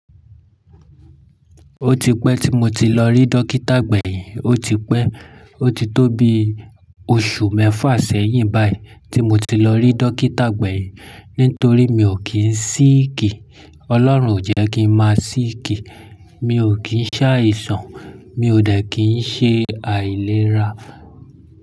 Ó ti pẹ́ tí mo ti lọ rí Dókítà gbẹ̀yin, ó ti pẹ́, ó ti tó bi oṣù mẹ́fà sẹ́yìn báyìí tí mo ti lọ rí Dókítà gbẹ̀yin nítorí mi ò kí ń síìkì. Ọlọ́run ò jẹ́ kí ń máa síìkì, mi ò kí ń ṣàìsàn, mi ò dẹ́ kí ń ṣe àìlera.